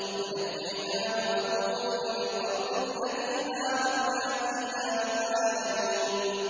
وَنَجَّيْنَاهُ وَلُوطًا إِلَى الْأَرْضِ الَّتِي بَارَكْنَا فِيهَا لِلْعَالَمِينَ